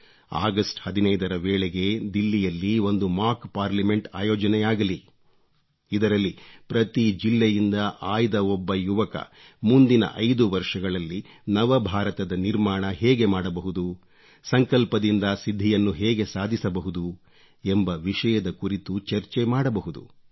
August 15 ರ ವೇಳೆಗೆ ದಿಲ್ಲಿಯಲ್ಲಿ ಒಂದು ಮಾಕ್ ಪಾರ್ಲಮೆಂಟ್ ಆಯೋಜನೆಯಾಗಲಿ ಇದರಲ್ಲಿ ಪ್ರತಿ ಜಿಲ್ಲೆಯಿಂದ ಆಯ್ದ ಒಬ್ಬ ಯುವಕ ಮುಂದಿನ 5 ವರ್ಷಗಳಲ್ಲಿ ನವಭಾರತದ ನಿರ್ಮಾಣ ಹೇಗೆ ಮಾಡಬಹುದು ಸಂಕಲ್ಪದಿಂದ ಸಿದ್ಧಿಯನ್ನು ಹೇಗೆ ಸಾಧಿಸಬಹುದು ಎಂಬ ವಿಷಯದ ಕುರಿತು ಚರ್ಚೆ ಮಾಡಬಹುದು